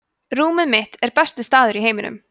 rúmið mitt er besti staður í heiminum